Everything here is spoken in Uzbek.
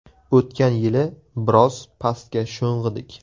O‘tgan yili biroz pastga sho‘ng‘idik.